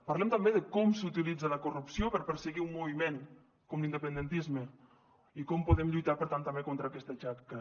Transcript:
parlem també de com s’utilitza la corrupció per perseguir un moviment com l’independentisme i com podem lluitar per tant també contra aquesta xacra